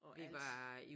Og alt